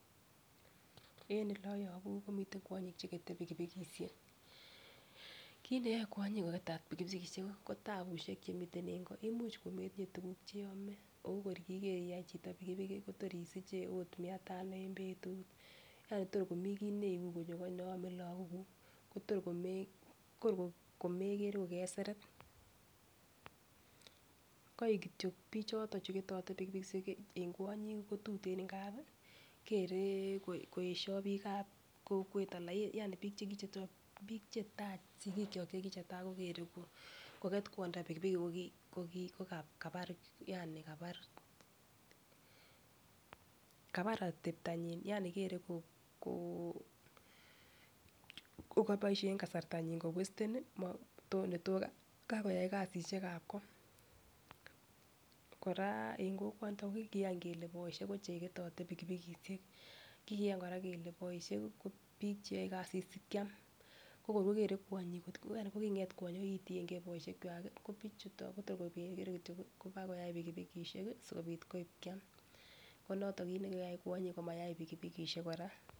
En ole oyobu komiten kwonyik chekete pikipikishek, kit neyoe kwonyik koketet pikipikishek ko tabushek chemiten en koo imuch kometinyee tukuk cheome en koi okor kikee chito iyai pikipiki Kotor isiche it mia tano en betut yani tor komii kii ne ibu kobwa koo neyoe kwome lok kuk Kotor Kotor ko mekere kekeseret. Koik kityok bichoton chuketote pikipikishek en kwonyik kotuten ngapi kere koyesho bik ab kokwet yani bik chekichechok bik chetai sikikyok chekichetai ko kere kokwet kwondo pikipiki ko kit kabar yani kabar kabar oteptonyin yani kere ko koboishen kasrtanyin kowesteni neyoe kakoyai kasishekab koo. Koraa en kokwoniton ko kikiyan kele boishet ko chekeyote pikipikishek kikiyan Koraa kele boishet ko bik cheyoe kasit sikiam ko kor kokere kwonyik kokinget kwonyik kokitiyengee boishet kwak kibichuton Kotor kokere kityok kobakoyai pikipikishek kii sikopit koib kiam komoto kokikoyai kwonyik komayai pikipikishek Koraa.